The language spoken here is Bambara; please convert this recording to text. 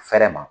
Fɛrɛ ma